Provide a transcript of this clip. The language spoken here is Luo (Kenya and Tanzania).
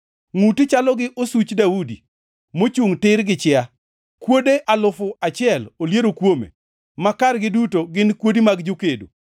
Ngʼuti chalo gi osuch Daudi, mochungʼ tir gi chia; kuode alufu achiel oliero kuome, ma kargi duto gin kuodi mag jokedo.